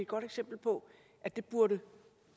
godt eksempel på at det burde